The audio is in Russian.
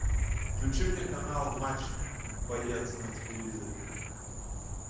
включи мне канал матч боец на телевизоре